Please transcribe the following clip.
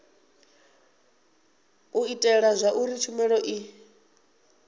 u itela zwauri tshumelo i